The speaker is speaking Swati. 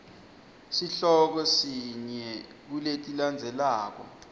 sihloko sinye kuletilandzelako